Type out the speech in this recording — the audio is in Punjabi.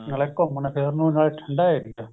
ਨਾਲੇ ਘੁਮਣ ਫਿਰਨ ਨੂੰ ਨਾਲੇ ਠੰਡਾ area